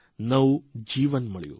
નવું જીવન મળ્યું